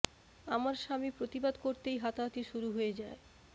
আমার স্বামী প্রতিবাদ করতেই হাতাহাতি শুরু হয়ে যায়